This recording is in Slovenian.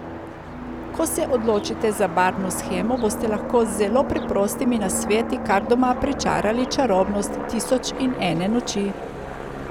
Ko se odločite za barvno shemo, boste lahko z zelo preprostimi nasveti kar doma pričarali čarobnost Tisoč in ene noči.